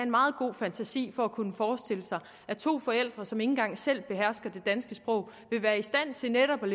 meget god fantasi for at kunne forestille sig at to forældre som ikke engang selv behersker det danske sprog vil være i stand til netop at